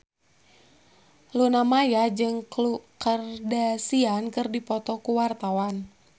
Luna Maya jeung Khloe Kardashian keur dipoto ku wartawan